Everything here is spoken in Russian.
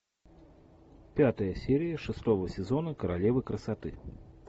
пятая серия шестого сезона королева красоты